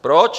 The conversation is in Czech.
Proč?